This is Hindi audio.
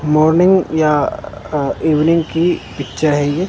मॉर्निंग या इवनिंग की पिक्चर है ये।